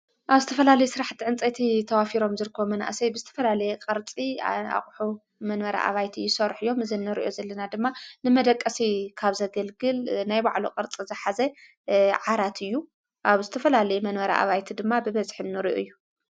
ኣብ ዝተፈላለየ ሥራሕ ተዕንፀቲ ተዋፊሮም ዝርኮ መናእሰይ ብስትፈላለየ ቐርጺ ኣቝሑ መንበረ ኣባይቲ ይሶርሕ እዮም ዘነርዩ ዘለና ድማ ንመደቀሲ ካብ ዘገልግል ናይ ባዕሉ ቕርጽ ዘኃዘይ ዓራት እዩ ኣብ ስትፈላለየ መንበረ ኣባይቲ ድማ ብበዝኅኖርኡ እዩ።